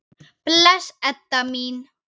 Bless, Edda mín.